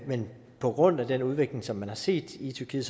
men på grund af den udvikling som man har set i tyrkiet